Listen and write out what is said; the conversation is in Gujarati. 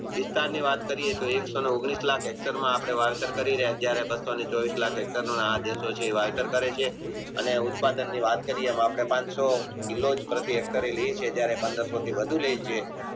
એને ઉત્પાદનની વાત કરીયે તો આપણે પણસો જયારે એ પંદરસો થી વધુ લેય છે